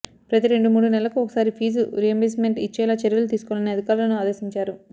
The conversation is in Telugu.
ప్రతి రెండు మూడు నెలలకు ఒకసారి ఫీజు రియింబర్స్మెంట్ ఇచ్చేలా చర్యలు తీసుసుకోవాలని అధికారులను ఆదేశించారు